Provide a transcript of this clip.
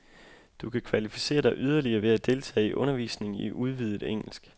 Du kan kvalificere dig yderligere ved at deltage i undervisning i udvidet engelsk.